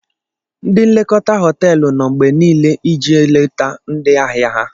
Ndi nlekota họteelụ no mgbe Nile ije leta ndi ahia ha